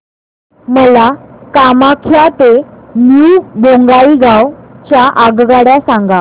मला कामाख्या ते न्यू बोंगाईगाव च्या आगगाड्या सांगा